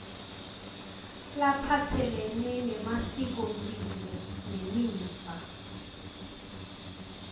laphatselene nemasikomphilo nemiva